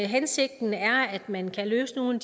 hensigten er at man løser nogle